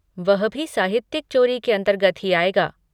वह भी साहित्यिक चोरी के अंतर्गत ही आएगा।